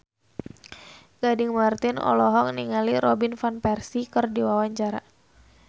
Gading Marten olohok ningali Robin Van Persie keur diwawancara